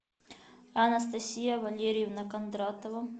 анастасия валерьевна кондратова